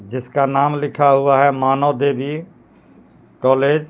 जिसका नाम लिखा हुआ है मानव देवी कॉलेज